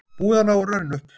Búið að ná rörinu upp